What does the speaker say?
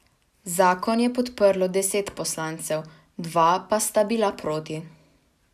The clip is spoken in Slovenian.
Zakon je podprlo deset poslancev, dva pa sta bila proti.